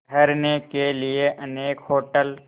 ठहरने के लिए अनेक होटल